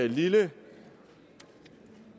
lille